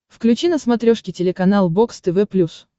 включи на смотрешке телеканал бокс тв плюс